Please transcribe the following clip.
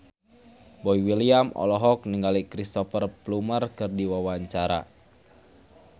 Boy William olohok ningali Cristhoper Plumer keur diwawancara